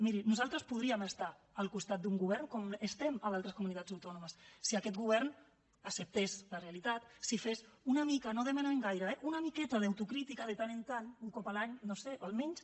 miri nosaltres podríem estar al costat d’un govern com estem a altres comunitats autònomes si aquest govern acceptés la realitat si fes una mica no en demanem gaire eh una miqueta d’autocrítica de tant en tant un cop l’any no ho sé almenys